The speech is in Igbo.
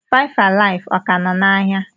FiveAlive, ọ ka nọ n'ahịa?